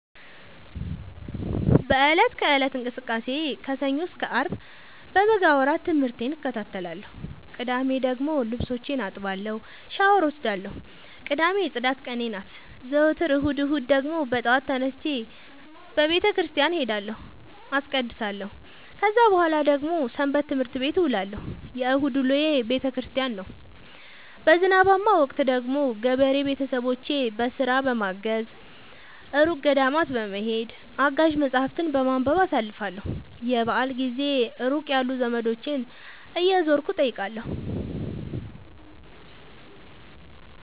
በእለት ከእለት እንቅስቃሴዬ ከሰኞ እስከ አርብ በበጋ ወራት ትምህርቴን እከታተላለሁ። ቅዳሜ ደግሞ ልብሶቼን አጥባለሁ ሻውር እወስዳለሁ ቅዳሜ የፅዳት ቀኔ ናት። ዘወትር እሁድ እሁድ ደግሞ በጠዋት ተነስቼ በተክርስቲያን እሄዳለሁ አስቀድሳሁ። ከዛ በኃላ ደግሞ ሰበትምህርት ቤት እውላለሁ የእሁድ ውሎዬ ቤተክርስቲያን ነው። በዝናባማ ወቅት ደግሞ ገበሬ ቤተሰቦቼን በስራ በማገ፤ እሩቅ ገዳማት በመሄድ፤ አጋዥ መፀሀፍትን በማንበብ አሳልፍለሁ። የበአል ጊዜ ሩቅ ያሉ ዘመዶቼን እየዞርኩ እጠይቃለሁ።